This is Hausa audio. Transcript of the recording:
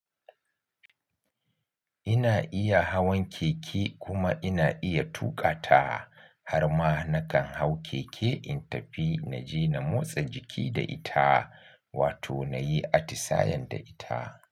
Ina iya hawan keke kuma ina iya tuƙa ta. Har ma na kan hau keke in tafi na je na motsa jiki da ita wato na yi atisayen da ita.